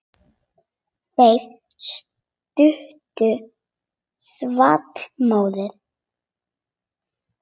Þeirri stuttu svall móður.